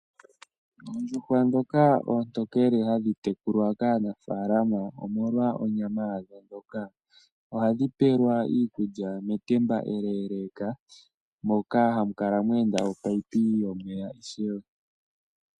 Oondjuhwa dhoka oontokele hadhi tekulwa kaanafalama omolwa onyama yadho ndjoka ombwanawa. Ohadhi pewelwa iikulya metamba eleleka moka hamu kala mwenda omunino yomeya wo.